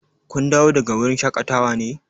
Kun dawo daga wurin shaƙatawa ne?